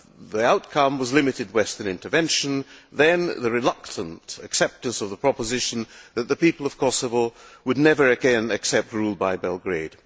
The outcome was limited Western intervention, then the reluctant acceptance of the proposition that the people of Kosovo would never again accept rule by Belgrade.